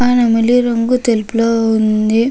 ఆ నెమిలి రంగు తెలుపు రాగులో ఉనది.